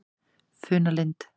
Funalind